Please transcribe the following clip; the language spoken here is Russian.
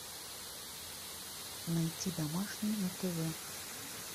найти домашний на тв